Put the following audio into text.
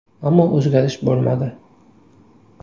Ammo o‘zgarish bo‘lmadi.